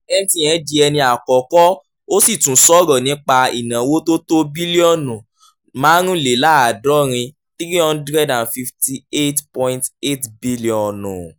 mtn di ẹni àkọ́kọ́ ó sì tún sọ̀rọ̀ nípa ìnáwó tó tó bílíọ̀nù márùnléláàádọ́rin [358.8 bílíọ̀nù]